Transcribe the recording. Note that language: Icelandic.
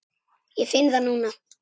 Ég finn það núna.